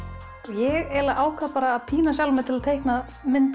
ég eiginlega ákvað að pína sjálfa mig til að teikna mynd